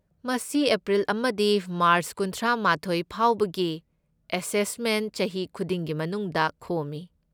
ꯃꯁꯤ ꯑꯦꯄ꯭ꯔꯤꯜ ꯑꯃꯗꯒꯤ ꯃꯥꯔꯆ ꯀꯨꯟꯊ꯭ꯔꯥꯃꯥꯊꯣꯢ ꯐꯥꯎꯕꯒꯤ ꯑꯦꯁꯦꯁꯃꯦꯟꯠ ꯆꯍꯤ ꯈꯨꯗꯤꯡꯒꯤ ꯃꯅꯨꯡꯗ ꯈꯣꯝꯃꯤ꯫